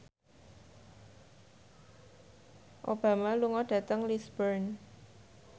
Obama lunga dhateng Lisburn